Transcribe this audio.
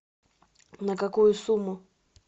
на какую сумму